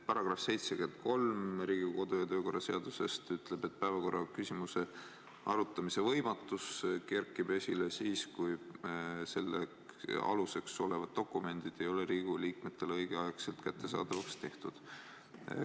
Paragrahv 73 Riigikogu kodu- ja töökorra seaduses ütleb, et päevakorraküsimuse arutamise võimatus kerkib esile siis, kui selle aluseks olevad dokumendid ei ole Riigikogu liikmetele õigeaegselt kättesaadavaks tehtud.